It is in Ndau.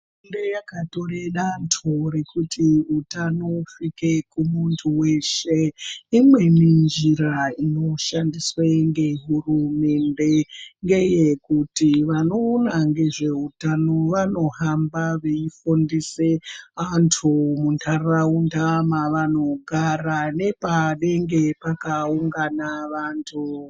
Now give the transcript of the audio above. Hurumende yakatore danto rekuti utano husvike kumuntu weshe. Imweni njira inoshandiswe ngehurumende, ngeyekuti vanoona ngezveutano vanohamba veifundise, antu muntaraunda mavanogara, nepanenge pakaungana vantu.